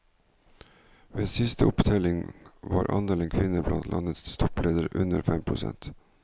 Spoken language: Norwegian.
Ved siste opptelling var andelen kvinner blant landets toppledere under fem prosent.